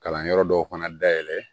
Kalanyɔrɔ dɔw fana dayɛlɛn